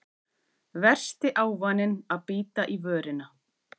Versti ávaninn að bíta í vörina